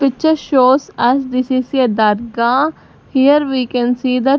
picture shows as this is a dargah here we can see the --